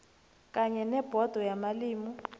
kanye nebhodo yamalimi